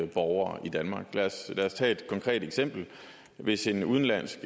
borgere i danmark lad os tage et konkret eksempel hvis en udenlandsk